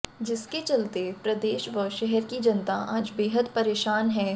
जिसके चलते प्रदेश व शहर की जनता आज बेहद परेशान हैं